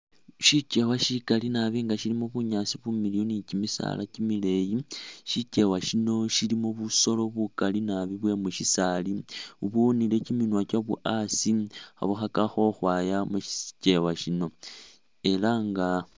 Shikyewa shikali nabi nga shilimo bunyaasi bumiliyu ni kyimisaala kyimileyi, shikyewa shino shilimo busolo bukali nabi bwe mushisaali ubuwunile kyiminwa kyabwo asi khe bukhakakho ukhwaya mushikyewa shino, era nga.